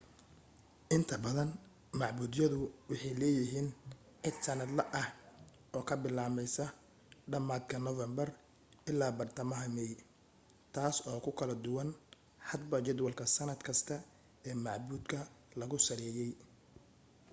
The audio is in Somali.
inta badan macbudyadu waxay leeyihiin iid sannadle ah oo ka bilaabmaysa dhammaadka noofambar illaa iyo badhtamaha meey taas oo ku kala duwan hadba jadwalka sannad kasta ee macbudka lagu saleeyey